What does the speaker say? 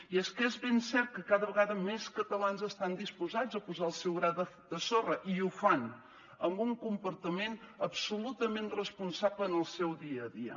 i és que és ben cert que cada vegada més catalans estan disposats a posar el seu gra de sorra i ho fan amb un comportament absolutament responsable en el seu dia a dia